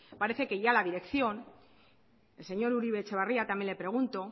parece que la dirección al señor uribe etxebarria también le pregunto